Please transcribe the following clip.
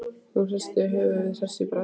Hún hristi höfuðið, hress í bragði.